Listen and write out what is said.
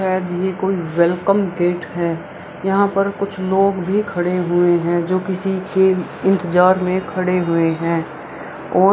शायद ये कोई वेलकम गेट है यहां पर कुछ लोग भी खड़े हुए हैं जो किसी के इंतज़ार में खड़े हुए है और --